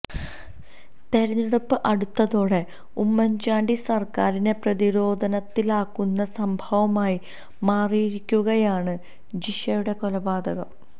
തെരഞ്ഞെടുപ്പ് അടുത്തതോടെ ഉമ്മന് ചാണ്ടി സര്ക്കാരിനെ പ്രതിരോധത്തിലാക്കുന്ന സംഭവമായി മാറിയിരിക്കുകയാണ് ജിഷയുടെ കൊലപാതകം